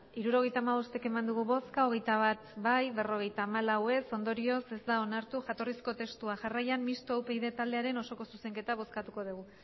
hirurogeita hamabost eman dugu bozka hogeita bat bai berrogeita hamalau ez ondorioz ez da onartu jatorrizko testua jarraian mistoa upyd taldearen osoko zuzenketa bozkatuko dugu